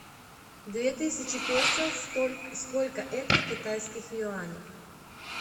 две тысячи песо сколько это в китайских юанях